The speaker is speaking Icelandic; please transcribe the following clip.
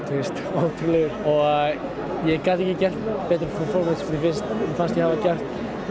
ótrúlegur og ég gat ekki gert betra performance mér fannst ég hafa gert